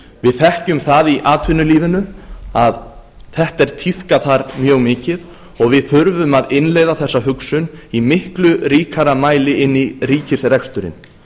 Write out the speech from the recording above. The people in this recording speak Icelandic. við þekkjum í atvinnulífinu að þetta er tíðkað þar mjög mikið og við þurfum að innleiða þessa hugsun í miklu ríkari mæli inn í ríkisreksturinn